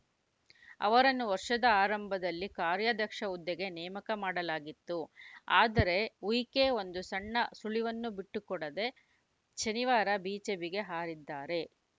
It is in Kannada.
ಅವರನ್ನು ವರ್ಷದ ಆರಂಭದಲ್ಲಿ ಕಾರ್ಯಾಧ್ಯಕ್ಷ ಹುದ್ದೆಗೆ ನೇಮಕ ಮಾಡಲಾಗಿತ್ತು ಆದರೆ ಉಯಿಕೆ ಒಂದು ಸಣ್ಣ ಸುಳಿವನ್ನೂ ಬಿಟ್ಟುಕೊಡದೇ ಶನಿವಾರ ಬಿಜೆಪಿಗೆ ಹಾರಿದ್ದಾರೆ